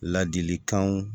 Ladilikanw